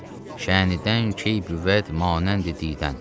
Şənindən key, bivəd, manəndi didim.